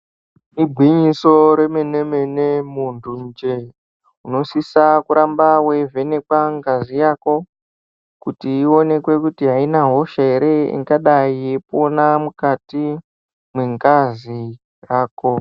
Igwinyiso remene-mene munthunje, unosisa kuramba weivhenekwa ngazi yako ,kuti ionekwe kuti aina hosha ere, ingadai yeipona mukati mwengazi yako.